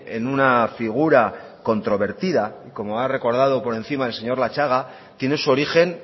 en una figura controvertida como ha recordado por encima el señor latxaga tiene su origen